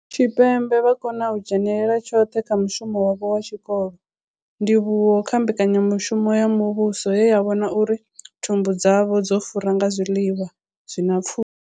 Tshipembe vha khou kona u dzhenela tshoṱhe kha mushumo wavho wa tshikolo, ndivhuwo kha mbekanyamushumo ya muvhuso ye ya vhona uri thumbu dzavho dzo fura nga zwiḽiwa zwi na pfushi.